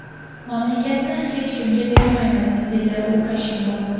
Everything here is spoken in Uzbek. Mamlakatni hech kimga bermaymiz”, dedi Lukashenko.